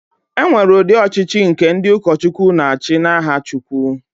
E nwere udị ọchịchị nke ndị ụkọchukwu na-achị n'aha Chukwu.